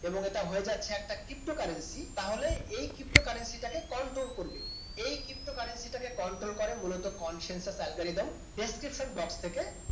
এবং এটা হয়ে যাচ্ছে একটা ptocurrency তাহলে এই ptocurrency কে control করবে কে? এই ক্ষিপ্ত কারেন্সিটাকে কন্ট্রোল করে মূলত consensus algorithmdescription box থেকে